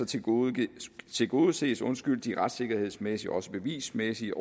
tilgodeses tilgodeses de retssikkerhedsmæssige og også bevismæssige